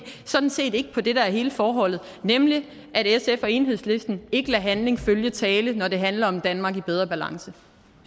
sådan set ikke på det der er hele forholdet nemlig at sf og enhedslisten ikke lader handling følge tale når det handler om et danmark i bedre balance